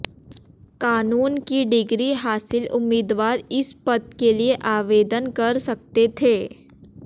कानून की डिग्री हासिल उम्मीदवार इस पद के लिए आवेदन कर सकते थे